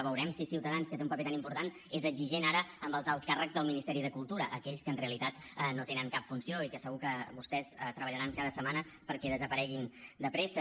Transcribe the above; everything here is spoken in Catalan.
veurem si ciutadans que té un paper tan important és exigent ara amb els alts càrrecs del ministeri de cultura aquells que en realitat no tenen cap funció i que segur que vostès treballaran cada setmana perquè desapareguin de pressa